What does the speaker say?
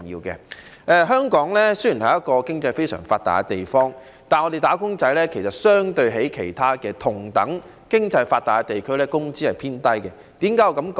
雖然香港是一個經濟非常發達的地方，但相對於同樣經濟發達的其他地區，香港"打工仔"的工資偏低。